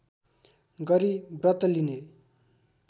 गरी व्रत लिने